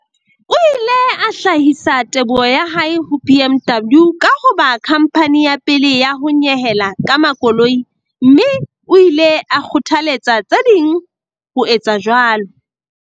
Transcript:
O ile a hlahisa teboho ya hae ho BMW ka ho ba khamphani ya pele ya ho nyehela ka makoloi, mme o ile a kgothaletsa tse ding ho etsa jwalo.